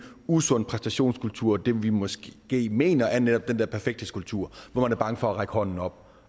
usund præstationskultur men det vi måske mener er netop den der perfekthedskultur hvor man er bange for at række hånden op